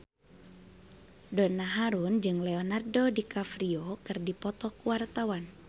Donna Harun jeung Leonardo DiCaprio keur dipoto ku wartawan